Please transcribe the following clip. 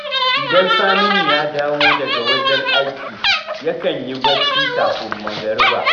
Idan Saminu ya dawo daga wajen aiki, yakan yi barci kafin magariba